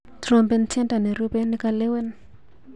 Trompen tyendo nerube nikalewen.